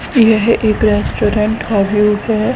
यह एक रेस्टोरेंट का व्यू है।